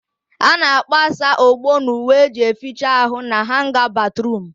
A na-agbasa ogbo n'uwe eji eficha ahụ na hanga batruum